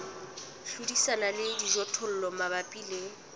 hlodisana le dijothollo mabapi le